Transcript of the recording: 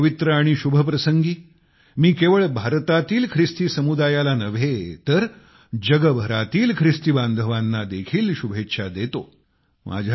या पवित्र आणि शुभ प्रसंगी मी केवळ भारतातील ख्रिस्ती समुदायाला नव्हे तर जगभरातील ख्रिस्ती बांधवांना देखील शुभेच्छा देतो